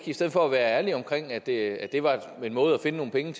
i stedet for at være ærlig om at det var en måde at finde nogle penge